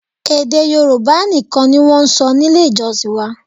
Èdè Yorùbá nìkan ni wọ́n ń sọ nílé ìjọsìn wa